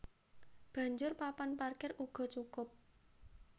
Banjur papan parkir uga cukup